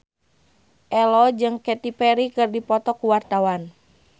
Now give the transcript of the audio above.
Ello jeung Katy Perry keur dipoto ku wartawan